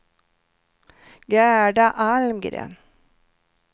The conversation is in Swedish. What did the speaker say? Gerda Almgren